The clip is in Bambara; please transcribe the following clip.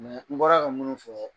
n bɔra ka minnu fɔ